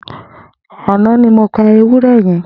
Ànã ni mó pà éwùrẹ̀ yèn